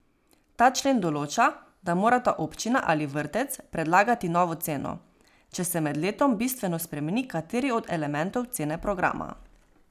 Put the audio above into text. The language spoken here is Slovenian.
Ta člen določa, da morata občina ali vrtec predlagati novo ceno, če se med letom bistveno spremeni kateri od elementov cene programa.